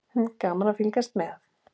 Gaman að fylgjast með.